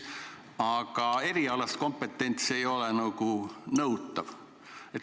Aga erialane kompetents ei ole nagu nõutav.